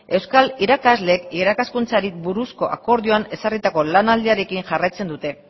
euskal irakasleek irakaskuntzari buruzko akordioan ezarritako lanaldiarekin jarraitzen dute